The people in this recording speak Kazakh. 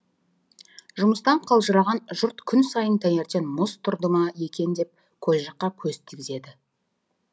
жұмыстан қалжыраған жұрт күн сайын таңертең мұз тұрды ма екен деп көл жаққа көз тігеді